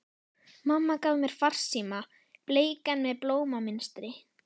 Mamma gaf mér farsíma, bleikan með blómamynstri.